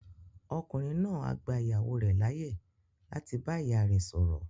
Ọkùnrin náà á gba ìyàwó rẹ̀ láyè láti bá ìyá rẹ sọ̀rọ̀